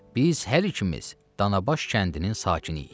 Biz hər ikimiz Danabaş kəndinin sakiniyik.